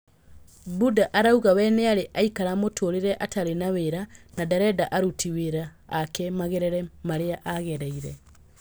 Buda arauga we nĩarĩ aikara mũtũrire atarĩ na wĩra na ndarenda aruti wĩra ake magerere marĩa agereire.